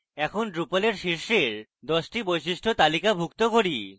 এখন drupal এর শীর্ষের 10 the বৈশিষ্ট্য তালিকাভুক্ত করি